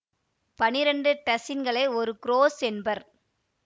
பனிரெண்டு டசின்களை ஒரு குறொஸ் என்பர்